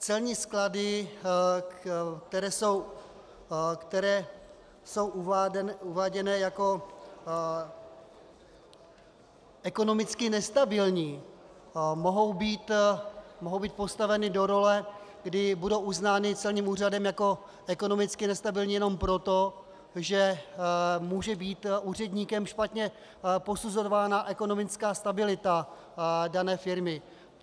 Celní sklady, které jsou uváděné jako ekonomicky nestabilní, mohou být postaveny do role, kdy budou uznány celním úřadem jako ekonomicky nestabilní jenom proto, že může být úředníkem špatně posuzována ekonomická stabilita dané firmy.